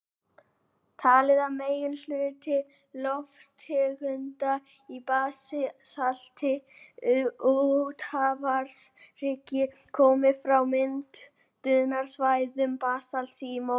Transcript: Talið er að meginhluti lofttegunda í basalti úthafshryggja komi frá myndunarsvæðum basalts í möttlinum.